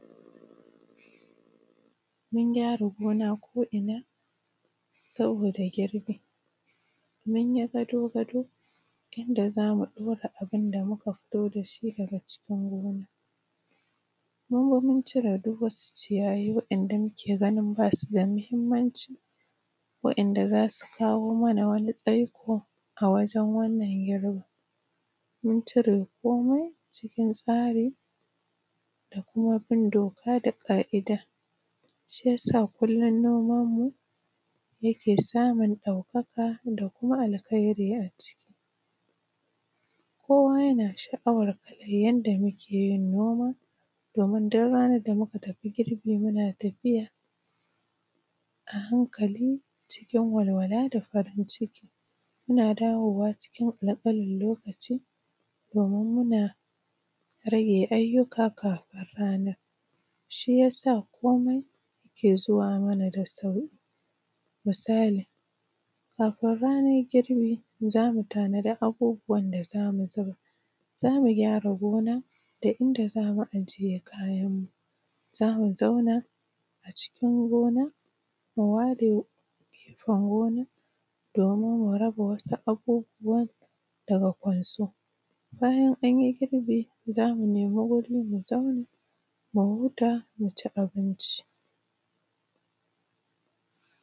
mun gyara gona kuma saboda girbi munyi gado gado inda zamu ɗaura abun da muka fito da shi daga cikin gona mun ciro duk wani ciyayi wa`yanda muke ganin basu da muhimmanci wa`yanda zasu kawo mana tsaiko a wajen wannan girbin mun cire komi cikin tsari da kuma bin doka da ƙa`ida shi yasa kullun noman mu yake samun ɗaukaka da kuma alkairi a ciki komai yana sha`awan yanda muke yin noman mu domin duk ranan da muka tafi girbi muna tafiya a hankali cikin walwala da farin ciki muna dawowa cikin ƙanƙinin lokaci domin muna rage aiyuka kafin ranan shi yasa komi yake zuwa mana da sauƙi misali kafin rana girbi za mu tanadi abubuwa da zamu zuba zamu gyara gonan da inda zamu ajiye kayan mu za mu zauna a cikin gonan mu ware gefen gonan domin mu raba wasu abubuwan da ya kwaso bayan an yi girbi za mu nema wuri mu zauna mu huta mu ci abinci